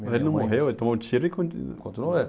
Mas ele não morreu, ele tomou um tiro e conti.